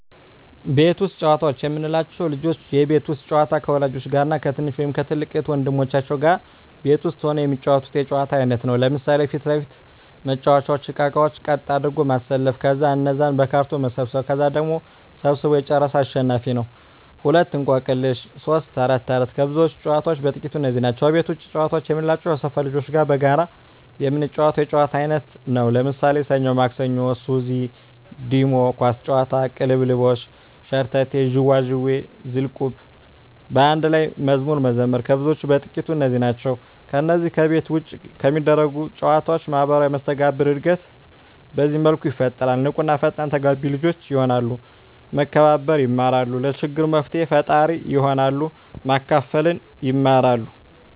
ቤት ውስጥ ጨዋታዎች የምንላቸው፦ ልጆች የቤት ውስጥ ጨዋታ ከወላጆች ጋር እና ከትንሽ ወይም ከትልቅ እህት ወንድሞቻቸው ጋር ቤት ውስጥ ሁነው የሚጫወቱት የጨዋታ አይነት ነው። ለምሣሌ 1. ፊት ለፊት መጫዎቻ እቃቃዎችን ቀጥ አድርጎ ማሠለፍ ከዛ እነዛን በካርቶን መሰብሠብ ከዛ ቀድሞ ሠብስቦ የጨረሠ አሸናፊ ነው፤ 2. እቆቅልሽ 3. ተረት ተረት ከብዙዎች ጨዋታዎች በጥቃቱ እነዚህ ናቸው። ከቤት ውጭ ጨዋታ የምንላቸው ከሠፈር ልጆች ጋር በጋራ የምንጫወተው የጨዋታ አይነት ነው። ለምሣሌ፦ ሠኞ ማክሠኞ፤ ሱዚ፤ ዲሞ፤ ኳስ ጨዋታ፤ ቅልልቦሽ፤ ሸርተቴ፤ ዥዋዥዌ፤ ዝልቁብ፤ በአንድ ላይ መዝሙር መዘመር ከብዙዎቹ በጥቂቱ እነዚህ ናቸው። ከነዚህ ከቤት ውጭ ከሚደረጉ ጨዎች ማህበራዊ መስተጋብር እድገት በዚህ መልኩ ይፈጠራል። ንቁ እና ፈጣን ተግባቢ ልጆች የሆናሉ፤ መከባበር የማራሉ፤ ለችግር መፍትሔ ፈጣሪ ይሆናሉ፤ ማካፈልን ይማራ፤